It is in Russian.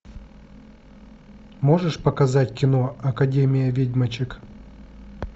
можешь показать кино академия ведьмочек